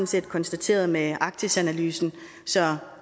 set konstateret med arktisanalysen så